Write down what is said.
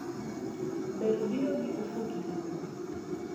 Ber biro gi ofuki iwuon.